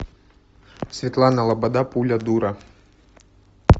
светлана лобода пуля дура